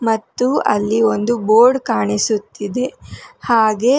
ಮತ್ತು ಅಲ್ಲಿ ಒಂದು ಬೋರ್ಡ್ ಕಾಣಿಸುತ್ತಿದೆ ಹಾಗೆ--